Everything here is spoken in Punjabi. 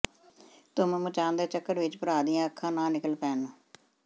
ਧੁੰਮ ਮਚਾਣ ਦੇ ਚੱਕਰ ਵਿੱਚ ਭਰਾ ਦੀਆਂ ਅੱਖਾਂ ਨਾ ਨਿਕਲ ਪੈਣ